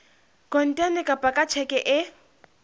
kontane kapa ka tjheke e